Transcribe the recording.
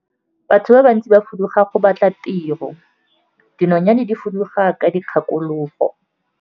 Batho ba bantsi ba fuduga go batla tiro, dinonyane di fuduga ka dikgakologo.